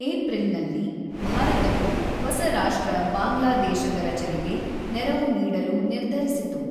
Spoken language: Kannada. ಏಪ್ರಿಲ್‌ನಲ್ಲಿ, ಭಾರತವು ಹೊಸ ರಾಷ್ಟ್ರ ಬಾಂಗ್ಲಾದೇಶದ ರಚನೆಗೆ ನೆರವು ನೀಡಲು ನಿರ್ಧರಿಸಿತು.